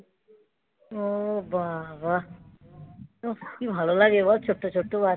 ও বাবা কি ভালো লাগে বল ছোট্ট ছোট্ট বাচ্চা.